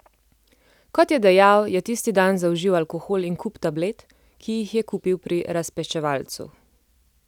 Kot je dejal, je tisti dan zaužil alkohol in kup tablet, ki jih je kupil pri razpečevalcu.